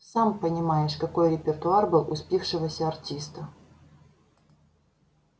сам понимаешь какой репертуар был у спившегося артиста